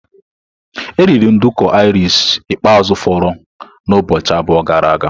E eriri nduku Irish ikpeazụ foro na ụbọchị abụọ gara aga.